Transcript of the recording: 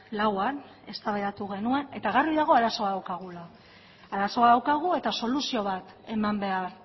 lauan eztabaidatu genuen eta argi dago arazoa daukagula arazo bat daukagu eta soluzio bat eman behar